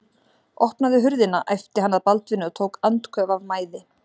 Opnaðu hurðina, æpti hann að Baldvini og tók andköf af mæði.